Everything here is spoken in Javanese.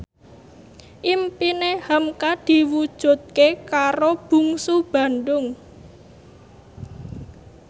impine hamka diwujudke karo Bungsu Bandung